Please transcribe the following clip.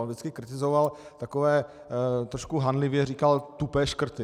On vždycky kritizoval takové - trošku hanlivě říkal tupé škrty.